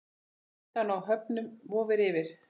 Hættan á höfnun vofir yfir.